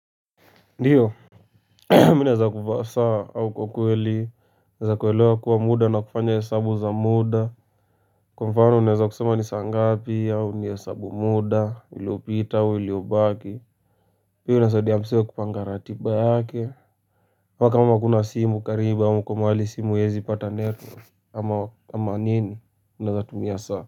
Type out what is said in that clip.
Ndiyo, mi naeza kuvaa saa au kwa kweli, naeza kuelewa bora muda na kufanya hesabu za muda. Kwa mfano, naeza kusema ni saa ngapi au nihesabu muda, uliopita, uliobaki. Pia inasadia msee kupanga ratiba yake. Mmpaka kama huna simu karibu, au uko mahali simu iezii pata net, ama nini, uneza tumia saa.